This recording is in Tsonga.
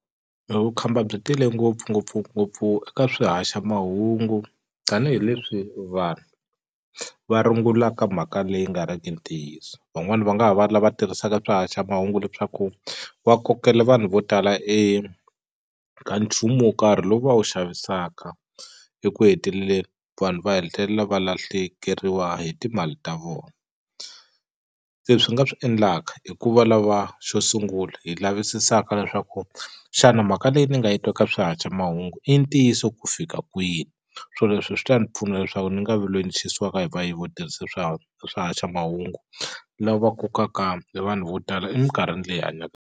E vukhamba byi tele ngopfu ngopfungopfu eka swihaxamahungu tanihileswi vanhu va rungulaka mhaka leyi nga riki ntiyiso van'wani va nga ha va lava tirhisaka swihaxamahungu leswaku va kokela vanhu vo tala eka nchumu wo karhi lowu va wu xavisaka eku heteleleni vanhu va hetelela va lahlekeriwa hi timali ta vona se swi nga swi endlaka i ku va lava xo sungula hi lavisisanga leswaku xana mhaka leyi ni nga yi twa ka swihaxamahungu i ntiyiso ku fika kwini swo leswi swi ta ni pfuna leswaku ni nga vi loyi ni xisiwaka hi vayivi vo tirhisa swihaxamahungu lava kokaka e vanhu vo tala eminkarhini leyi hi hanyaka.